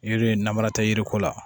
Yiri in na mara tɛ yiri ko la